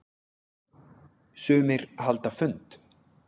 Sumir halda fund.